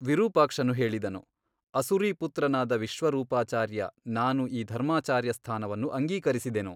ವಿರೂಪಾಕ್ಷನು ಹೇಳಿದನು ಅಸುರೀಪುತ್ರನಾದ ವಿಶ್ವರೂಪಾಚಾರ್ಯ ನಾನು ಈ ಧರ್ಮಾಚಾರ್ಯಸ್ಥಾನವನ್ನು ಅಂಗೀಕರಿಸಿದೆನು.